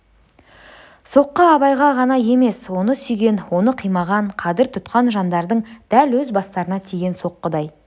соққы абайға ғана емес оны сүйген оны қимаған қадір тұтқан жандардың дәл өз бастарына тиген соққыдай